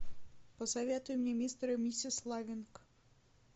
посоветуй мне мистер и миссис лавинг